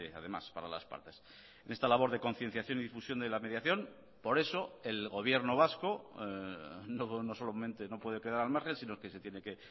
además para las partes en esta labor de concienciación y difusión de la mediación por eso el gobierno vasco no solamente no puede quedar al margen sino que se tiene que